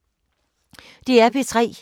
DR P3